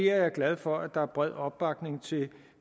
er glad for at der er bred opbakning